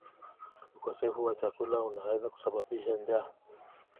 Ukosefu wa chakula unaweza kusababisha njaa.